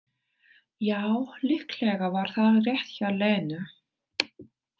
Já, líklega var það rétt hjá Lenu.